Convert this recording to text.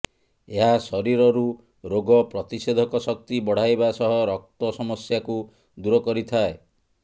ଏହା ଶରୀରରୁ ରୋଗ ପ୍ରତିଷେଧକ ଶକ୍ତି ବଢାଇବା ସହ ରକ୍ତ ସମସ୍ୟାକୁ ଦୂର କରିଥାଏ